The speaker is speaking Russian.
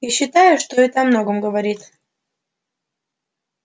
я считаю что это о многом говорит